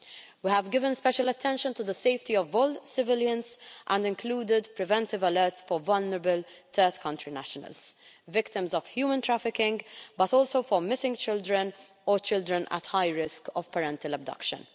We have given special attention to the safety of all civilians and included preventive alerts for vulnerable third country nationals and victims of human trafficking, but also for missing children or children at high risk of parental abduction.